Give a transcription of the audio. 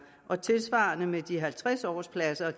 der tilsvarende med de halvtreds årspladser